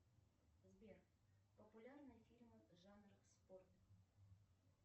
сбер популярные фильмы жанра спорт